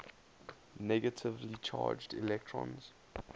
negatively charged electrons